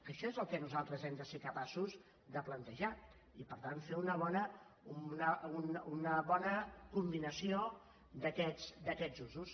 això és el que nosaltres hem de ser capaços de plantejar i per tant fer una bona combinació d’aquests usos